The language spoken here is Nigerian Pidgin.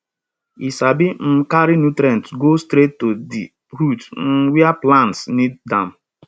e sabi um carry nutrients go straight to di root um where plants need am